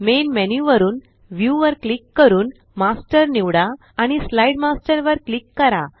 main menu वरुन view वर click करून मास्टर निवडा आणि स्लाईड मास्टर वर क्लिक करा